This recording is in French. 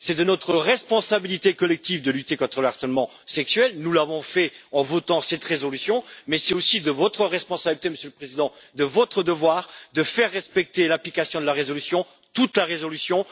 C'est de notre responsabilité collective de lutter contre le harcèlement sexuel. Nous l'avons fait en votant cette résolution, mais c'est aussi de votre responsabilité et de votre devoir, Monsieur le Président, de faire respecter l'application de la résolution de l'ensemble de la résolution.